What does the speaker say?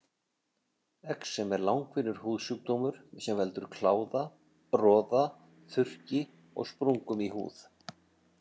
Exem er langvinnur húðsjúkdómur sem veldur kláða, roða, þurrki og sprungum í húð.